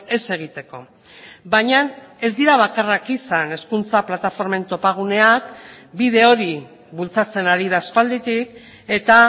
ez egiteko baina ez dira bakarrak izan hezkuntza plataformen topaguneak bide hori bultzatzen ari da aspalditik eta